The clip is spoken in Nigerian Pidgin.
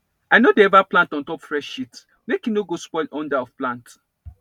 i no dey ever plant on top fresh shit make e no go spoil under of plant